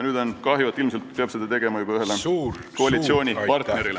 Nüüd on kahju, et ilmselt peab avaldama umbusaldust juba ühele koalitsioonipartnerile.